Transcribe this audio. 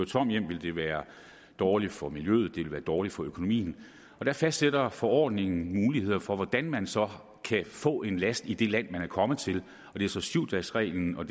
tom hjem ville det være dårligt for miljøet ville være dårligt for økonomien der fastsætter forordningen muligheder for hvordan man så kan få en last i det land man er kommet til og det er så syv dagesreglen og